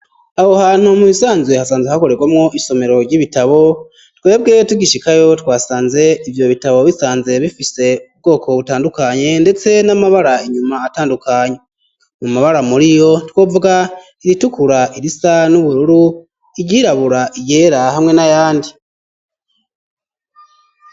Aho hantu mu bisanzwe hasanzwe hakorerwamwo isomero ry'ibitabo twebwe tugishikayo twasanze ivyo bitabo bisanze bifise ubwoko butandukanye ndetse n'amabara inyuma atandukanye mu mabara muriyo twovuga iritukura irisa n'ubururu iryirabura iryera hamwe n'ayandi